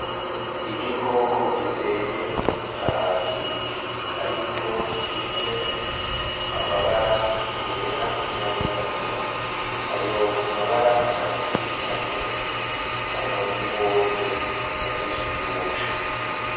Igikoko giteye nk’ifarasi ariko gifise amabara yera n’ayirabura , ayo mabara akaba akikamye ku mubiri wose agikikuje.